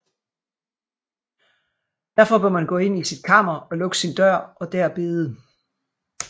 Derfor bør man gå ind i sit kammer og lukke sin dør og der bede